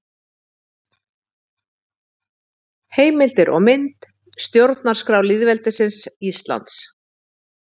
Heimildir og mynd: Stjórnarskrá lýðveldisins Íslands.